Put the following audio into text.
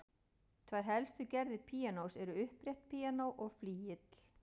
Tvær helstu gerðir píanós eru upprétt píanó og flygill.